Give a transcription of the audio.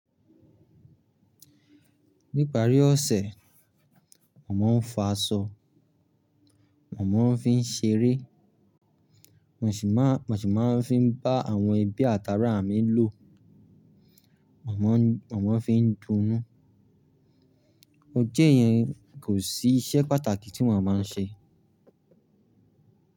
Ní ìparí ọ̀sẹ̀, mo má ń fa aṣọ, mo má ń fi ń ṣeré, wọ́n sì máa ń fi bá àwọn ẹbí àtáarà mi lò, màmá fi ń dunnú. Ojè yẹn kò sí iṣẹ́ pàtàkì tí wọ́n máa ń ṣe.